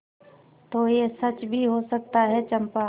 तो यह सच भी हो सकता है चंपा